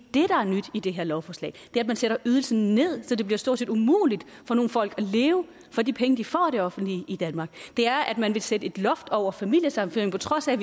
er nyt i det her lovforslag det er at man sætter ydelsen ned så det bliver stort set umuligt at leve for de penge de får af det offentlige i danmark det er at man vil sætte et loft over familiesammenføringer på trods af